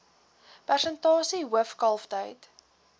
persentasie hoof kalftyd